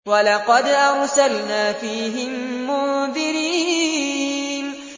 وَلَقَدْ أَرْسَلْنَا فِيهِم مُّنذِرِينَ